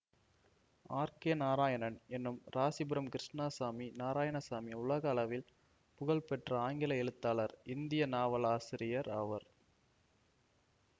R K Narayanan என்னும் ராசிபுரம் கிருஷ்ணாசாமி நாராயணசாமி உலக அளவில் புகழ் பெற்ற ஆங்கில எழுத்தாளர் இந்திய நாவல் ஆசிரியர் ஆவர்